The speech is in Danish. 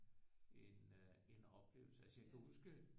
En øh en oplevelse altså jeg kan huske øh